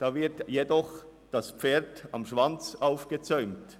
Da wird jedoch das Pferd am Schwanz aufgezäumt: